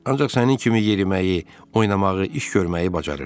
Ancaq sənin kimi yeriməyi, oynamağı, iş görməyi bacarır.